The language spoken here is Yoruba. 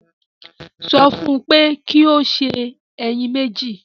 Sọ fún un pé kí ó sè ẹyin mẹ́jì